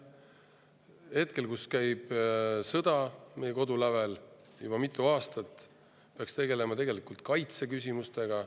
Hetkel, kui meie kodulävel käib sõda juba mitu aastat, peaks tegelema kaitseküsimustega.